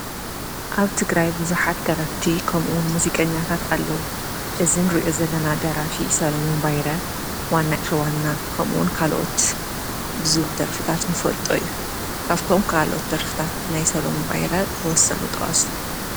ኣብ ትግራይ ቡዙሓት ደረፍቲ ከምኡ እውን ሙዚቀኛታት ኣለዉ፡፡ እዚ እንሪኦ ዘለና ደራፊ ሰሎሙን ባይረ ዋና ተዋና ከምኡ እውን ካልኦት ብዝብል ደርፊ እንፈልጦ እዩ፡፡ ካብቶም ካልኦት ደርፍታት ናይ ሰሎሙን ሃይለ ተወሳኪ ጥቀሱ?